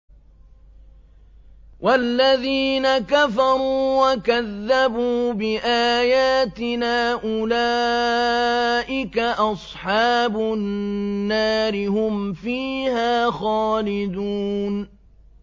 وَالَّذِينَ كَفَرُوا وَكَذَّبُوا بِآيَاتِنَا أُولَٰئِكَ أَصْحَابُ النَّارِ ۖ هُمْ فِيهَا خَالِدُونَ